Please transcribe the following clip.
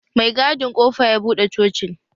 Mai gadin kofa ya buɗe cocin